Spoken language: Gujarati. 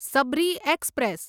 સબરી એક્સપ્રેસ